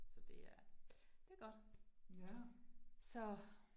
Så det er, det godt, så